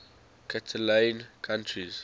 catalan countries